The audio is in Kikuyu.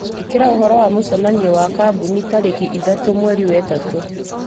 ĩkĩra ũhoro wa mũcemanio wa kambũnitarĩki ithatũ mweri wa ĩtatũ